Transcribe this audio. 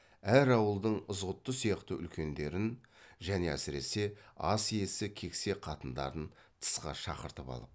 әр ауылдың ызғұтты сияқты үлкендерін және әсіресе ас иесі кексе қатындарын тысқа шақыртып алып